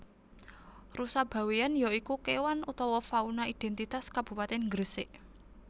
Rusa Bawean ya iku kewan utawa fauna identitas Kabupatèn Gresik